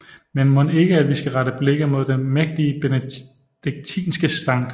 Men mon ikke at vi skal rette blikke mod det mægtige benediktinske Skt